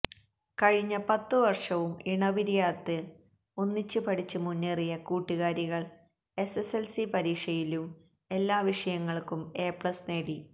കഴിഞ്ഞ പത്ത് വര്ഷവും ഇണപിരിയാത്ത ഒന്നിച്ച് പഠിച്ച് മുന്നേറിയ കൂട്ടുകാരികള് എസ്എസ്എല്സി പരീക്ഷയിലും എല്ലാ വിഷയങ്ങള്ക്കും എ പ്ലസ് നേടി